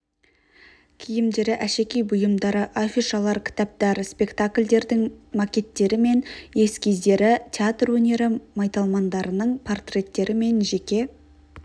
киімдері әшекей бұйымдары афишалар кітаптар спектакльдердің макеттері мен эскиздері театр өнері майталмандарының портреттері мен жеке